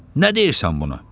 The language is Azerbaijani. Nə deyirsən buna?